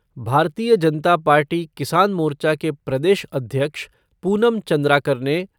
भारतीय जनता पार्टी किसान मोर्चा के प्रदेश अध्यक्ष पूनम चंद्राकर ने